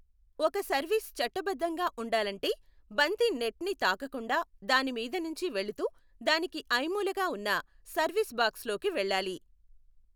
ఒక సర్వీస్ చట్టబద్ధంగా ఉండాలంటే, బంతి నెట్ని తాకకుండా దాని మీద నుంచి వెళుతూ దానికి ఐమూలగా ఉన్న సర్వీస్ బాక్స్లోకి వెళ్ళాలి.